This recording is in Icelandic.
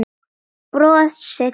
Brosið hans.